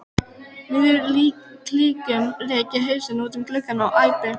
miðjum klíðum rek ég hausinn út um gluggann og æpi